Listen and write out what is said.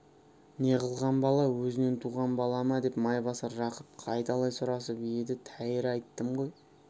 не қылған бала өзінен туған бала ма деп майбасар жақып қайталай сұрасып еді тәйірі айттым ғой